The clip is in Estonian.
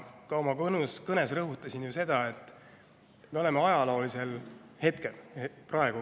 Ka oma kõnes rõhutasin ju seda, et me oleme ajaloolises hetkes.